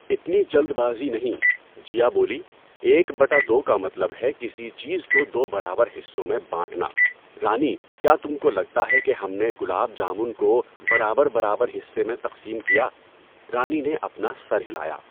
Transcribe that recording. اتنی جلد بازی نہیں، جیا بولی، ایک بٹا دو کا مطلب ہے کسی چیز کو دو برابر حصوں میں بانٹنا، رانی کیا تم کو لگتا ہے کہ ہم نے گلاب جامن کو برابر برابر حصے میں تقسیم کیا؟ رانی نے اپنا سر ہلایا۔